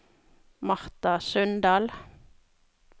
Martha Sundal